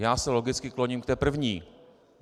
Já se logicky kloním k té první.